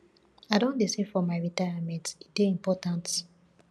i don dey save for my retirement e dey important